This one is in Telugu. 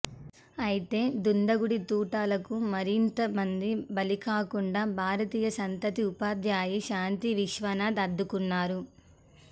అయితే దుండగుడి తూటాలకు మరింత మంది బలికాకుండా భారతీయ సంతతి ఉపాధ్యాయిని శాంతి విశ్వనాథన్ అడ్డుకున్నారు